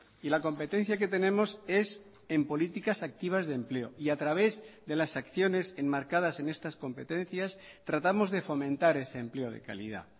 y la competencia que tenemos es en políticas activas de empleo y a través de las acciones enmarcadas en estas competencias tratamos de fomentar ese empleo de calidad